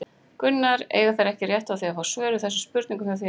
Gunnar: Eiga þeir ekki rétt á því að fá svör við þessum spurningum hjá þér?